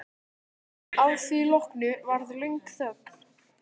Að því loknu varð löng þögn.